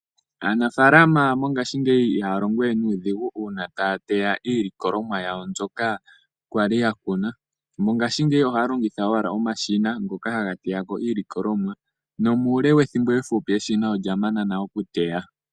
Aanafaalama mongashingeyi ihaa longowe nuudhigu uuna taya teya iilikolomwa yawo mbyoka kwali yakuna. Mongashingeyi ohaya longitha owala omashina ngoka haga teya iilikolomwa nomuule wethimbo efupi eshina olya mana nale okuteya.